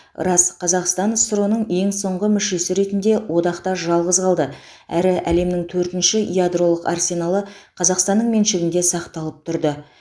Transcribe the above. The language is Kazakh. рас қазақстан ссро ның ең соңғы мүшесі ретінде одақта жалғыз қалды әрі әлемнің төртінші ядролық арсеналы қазақстанның меншігінде сақталып тұрды